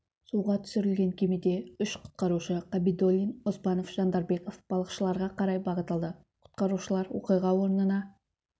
суға түсірілген кемеде үш құтқарушы қабидолдин оспанов және жандарбеков балықшыларға қарай бағыт алды құтқарушылар оқиға орнына